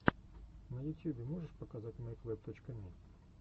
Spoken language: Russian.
на ютьюбе можешь показать мэйквэб точка ми